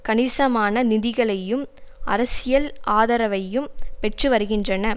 கணிசமான நிதிகளையும் அரசியல் ஆதரவையும் பெற்று வருகின்றன